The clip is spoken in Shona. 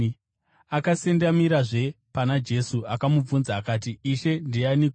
Akasendamirazve pana Jesu, akamubvunza akati, “Ishe, ndianiko?”